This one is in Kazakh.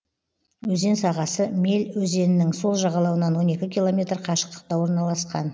өзен сағасы мель өзенінің сол жағалауынан он екі километр қашықтықта орналасқан